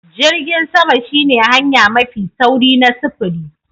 Jirgin sama shine hanya mafi sauri na sufuri.